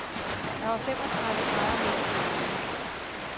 Der var femogtredive grader midt i bjergene.